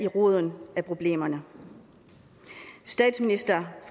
roden af problemerne statsminister